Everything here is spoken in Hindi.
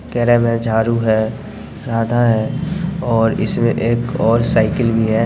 केरा भी है झाड़ू है राधा है और इसमें एक और साइकिल भी है।